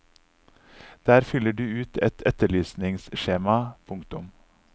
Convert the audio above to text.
Der fyller du ut et etterlysningsskjema. punktum